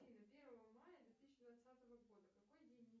афина первое мая две тысячи двадцатого года какой день недели